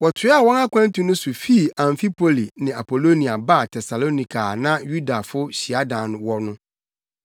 Wɔtoaa wɔn akwantu no so fii Amfipoli ne Apolonia baa Tesalonika a na Yudafo hyiadan wɔ no.